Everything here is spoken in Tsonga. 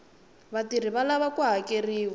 vatirhi va lava ku hakeriwa